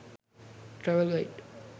travel guide